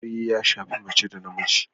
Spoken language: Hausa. Aure ya shafi mace da namiji